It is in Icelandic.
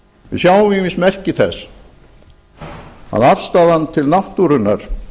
við sjáum ýmis merki þess að afstaðan til náttúrunnar